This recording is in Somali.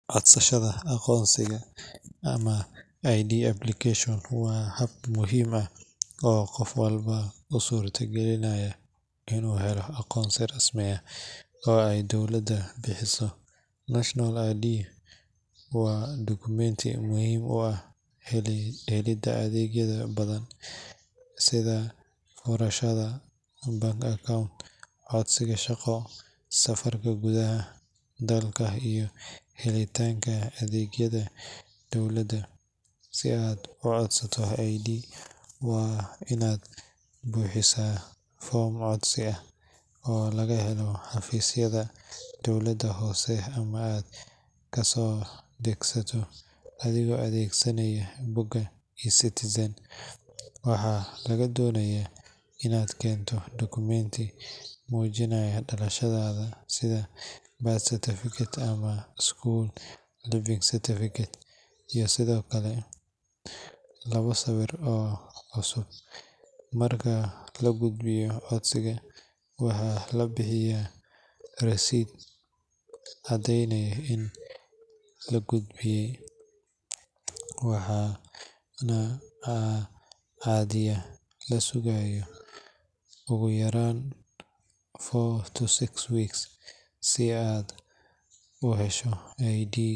Codsashada aqoonsiga ama ID application waa hab muhiim ah oo qof walba u suurtagelinaya inuu helo aqoonsi rasmi ah oo ay dowladdu bixiso. National ID waa dukumenti muhim u ah helidda adeegyo badan sida furashada bank account, codsiga shaqo, safarka gudaha dalka iyo helitaanka adeegyada dowladda. Si aad u codsato ID, waa inaad buuxisaa foom codsi ah oo laga helo xafiisyada dowladda hoose ama aad ka soo degsato adigoo adeegsanaya bogga eCitizen. Waxaa lagaa doonayaa inaad keento dukumenti muujinaya dhalashadaada sida birth certificate ama school leaving certificate, iyo sidoo kale labo sawir oo cusub. Marka la gudbiyo codsiga, waxaa la bixiyaa rasiid caddaynaysa in la gudbiyey, waxaana caadiyan la sugaa ugu yaraan four to six weeks si aad u hesho ID.